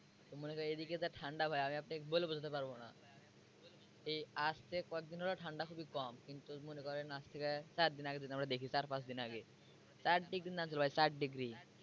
মনে করেন এই দিকে যে ঠান্ডা ভাই আমি আপনাকে বলে বুঝাতে পারবো না এই আজকে কয়েকদিন হলো ঠাণ্ডা খুবই কম কিন্তু মনে করেন আজ থেকে চার দিন আগে যদি আমরা দেখি চার পাঁচ দিন আগে চার degree নামছিল ভাই চার degree